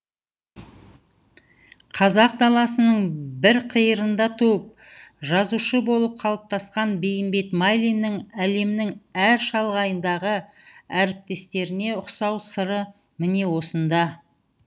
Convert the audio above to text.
қазақ даласының бір қиырында туып жазушы болып қалыптасқан бейімбет майлиннің әлемнің әр шалғайындағы әріптестеріне ұқсау сыры міне осында